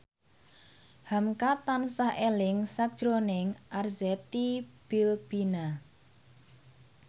hamka tansah eling sakjroning Arzetti Bilbina